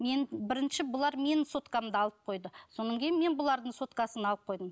мен бірінші бұлар менің соткамды алып қойды кейін мен бұлардың соткасын алып қойдым